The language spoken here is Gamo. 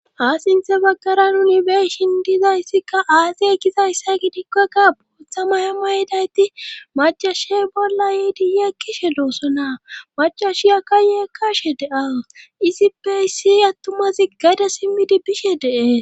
Ha sinthe baggara nuni beeshin diizayssikka asse eqizayssa gidikk woykka booththa maya mayedayti macashey bolla yiidi yeekkishe doosonaa macashiyakka yeekkashe de7awus isippey yizzai attumazi gade simmidi bishe dee's.